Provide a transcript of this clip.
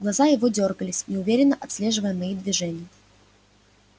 глаза его дёргались неуверенно отслеживая мои движения